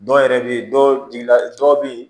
Dɔw yɛrɛ bɛ yen dɔw di la dɔw bɛ yen